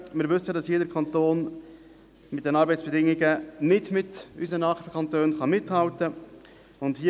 Wir wissen, dass unser Kanton bei den Arbeitsbedingungen nicht mit unseren Nachbarkantonen mithalten kann.